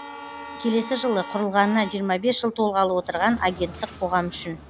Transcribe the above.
келесі жылы құрылғанына жиырма бес жыл толғалы отырған агенттік қоғам үшін